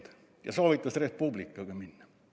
Ja ta soovitas Res Publicaga koos edasi minna.